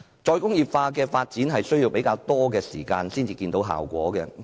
"再工業化"的發展需要較長時間才見效果。